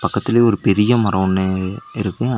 பக்கத்துலயே ஒரு பெரிய மரோ ஒன்னு இருக்கு.